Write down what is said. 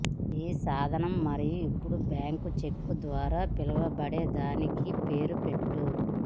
ఈ సాధనం మరియు ఇప్పుడు బ్యాంకు చెక్కు ద్వారా పిలువబడేదానికి పేరు పెట్టు